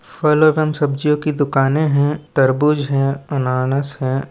फल एवम सब्जियों की दुकानें है तरबूज है अनानास है।